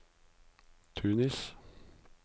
Tunis